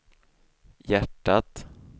hjärtat